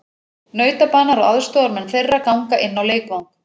Nautabanar og aðstoðarmenn þeirra ganga inn á leikvang.